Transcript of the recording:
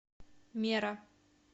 мера